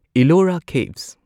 Ellora caves